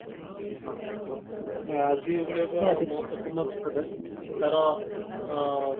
ଆଜି ଭଳିଆ ମହତ୍ବପୂର୍ଣ ଦିନରେ ତାର ଆ